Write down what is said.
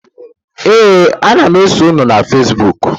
Ee, ana m eso unu na fezbuk.